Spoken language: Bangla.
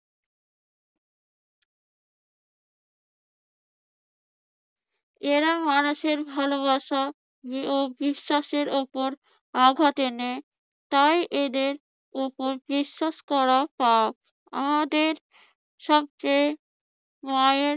এরা মানুষের ভালোবাসা ও বিশ্বাসের উপর আঘাত হানে। তাই এদের উপর বিশ্বাস করা পাপ। আমাদের সবচেয়ে মায়ের